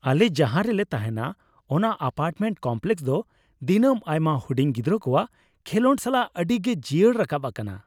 ᱟᱞᱮ ᱡᱟᱦᱟᱸ ᱨᱮᱞᱮ ᱛᱟᱦᱮᱱᱟ ᱚᱱᱟ ᱮᱹᱯᱟᱨᱴᱢᱮᱱᱴ ᱠᱚᱢᱯᱞᱮᱠᱥ ᱫᱚ ᱫᱤᱱᱟᱹᱢ ᱟᱭᱢᱟ ᱦᱩᱰᱤᱧ ᱜᱤᱫᱽᱨᱟᱹ ᱠᱚᱣᱟᱜ ᱠᱷᱮᱞᱚᱸᱰ ᱥᱟᱞᱟᱜ ᱟᱹᱰᱤ ᱜᱮ ᱡᱤᱭᱟᱹᱲ ᱨᱟᱠᱟᱵ ᱟᱠᱟᱱᱟ ᱾